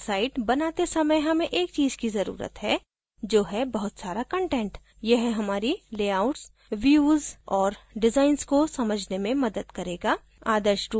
drupal site बनाते समय हमें एक चीज़ की ज़रुरत है जो है बहुत सारा कंटेंट यह हमारी layouts views और designs को समझने में मदद करेगा